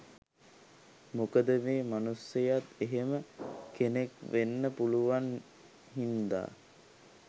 මොකද මේ මනුස්සයත් එහෙම කෙනෙක් වෙන්න පුළුවන් හින්දා